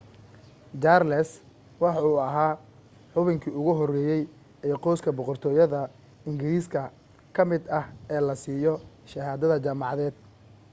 charles waxa uu ahaa xubinkii ugu horeeyay ee qoyska boqortooyada ingiriiska ka mid ah ee la siiyo shahaado jaamacadeed